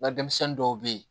N ka denmisɛnnin dɔw bɛ yen